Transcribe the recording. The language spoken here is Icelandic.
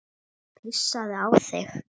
Pissaðu á þig.